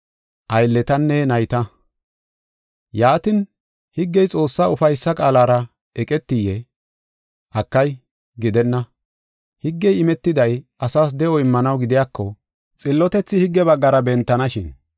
Yaatin, higgey Xoossaa ufaysa qaalara eqetiyee? Akay, gidenna! Higgey imetiday asas de7o immanaw gidiyako, xillotethi higge baggara bentanashin.